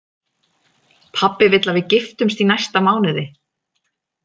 Pabbi vill að við giftumst í næsta mánuði